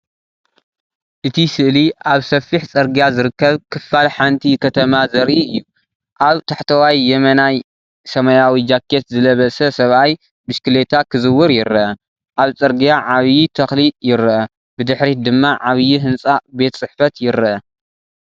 እቲ ስእሊ ኣብ ሰፊሕ ጽርግያ ዝርከብ ክፋል ሓንቲ ከተማ ዘርኢ እዩ። ኣብ ታሕተዋይ የማናይ ሰማያዊ ጃኬት ዝለበሰ ሰብኣይ ብሽክለታ ክዝውር ይረአ። ኣብ ጽርግያ ዓቢይ ትክሊይርአ፡ ብድሕሪት ድማ ዓቢይ ህንጻ ቤት ጽሕፈት ይርአ።